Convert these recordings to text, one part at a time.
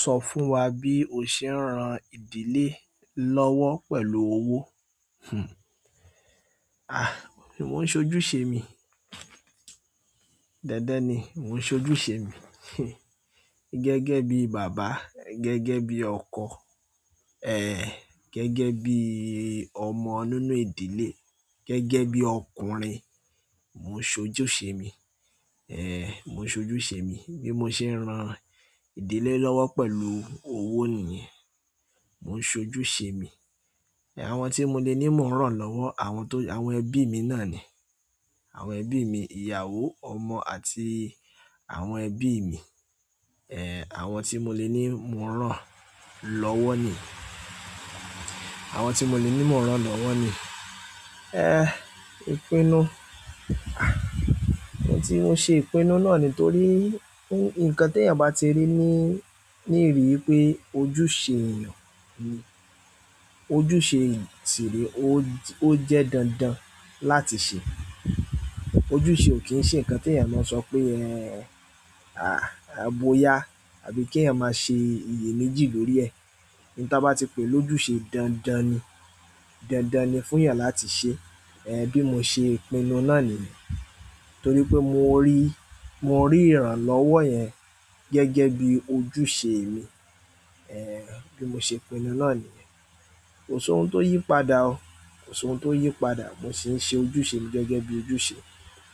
Sọ fún wa bí o ṣe ń ran ìdílé lọ́wọ́ pẹ̀lú owó. Hmm. À, mò ń ṣojúṣe mi. Dandan ni mò ń ṣojúṣe mi. Gẹ́gẹ́ bí bàbá, gẹ́gẹ́ bí ọkọ, ẹ́ẹ̀, gẹ́gẹ́ bí ọmọ nínú ìdílé, gẹ́gẹ́ bí ọkùnrin, mò ń ṣojúṣe mi. Ẹ̀, mò ń ṣojúṣe mi bí mo ṣe ń ran ìdílé lọ́wọ́ pẹ̀lú owó nìyẹn. Mò ń ṣojúṣe mi. Àwọn tí mo le ní ń rán lọ́wọ́, àwọn tó-- àwọn ẹbí mi náà ni. Àwọn ẹbí mi, ìyàwó, ọmọ àti àwọn ẹbí mi. Ẹ̀, àwọn tí mo le ní ń rán lọ́wọ́ ni. Àwọn tí mo le ní ń rán lọ́wọ́ ni. Ẹ́, ìpinnu. À, ohun tí mo ṣe ìpinnu náà nítorí n-nǹkan tí èèyàn bá ti rí ní, ní ìrírí pé ojúṣe èèyàn n, ojúṣe si ree o, ó jẹ́ dandan láti ṣe. Ojúṣe ò kí ń ṣe ǹkan tí èèyàn máa sọ pé ẹ́, à, à, bóyá àbí kí èèyàn máa ṣe iyèméjì lórí ẹ̀. Ohun tí a bá ti pe lójúṣe dandan ni. Dandan ni fún èèyàn láti ṣe. Ẹ̀, bí mo ṣe ìpinnu náà nìyẹn. Nítorí pé mo rí, mo rí ìrànlọ́wọ́ yẹn gẹ́gẹ́ bí ojúṣe mi. Ẹ̀, bí mo ṣe ìpinnu náà nìyẹn. Kò sí ohun tó yí padà o. Kò sí ohun tó yí padà. Mo sì ń ṣe ojúṣe mi gẹ́gẹ́ bí ojúṣe.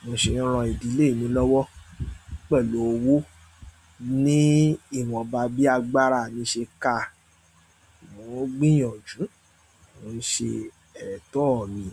Mo sì ń ran ìdílé mi lọ́wọ́ pẹ̀lú owó. Ni ìwonba bí agbára mi ṣe ka, mò ń gbìyànjú, mò ń ṣe ẹ̀tọ́ mi.